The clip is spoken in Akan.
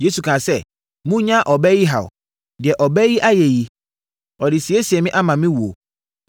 Yesu kaa sɛ, “Monnyaa ɔbaa yi haw! Deɛ ɔbaa yi ayɛ yi, ɔde resiesie me ama me wuo.